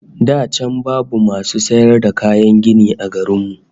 Da can babu masu sayar da kayan gini a garin mu